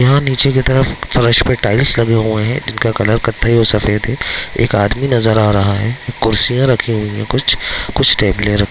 यहां नीचे की तरफ फर्श पर टाइल्स लगे हुए हैं इनका कलर कत्थई और सफेद है एक आदमी नजर आ रहा है कुर्सियां रखी हुई है कुछ कुछ टैबले रख --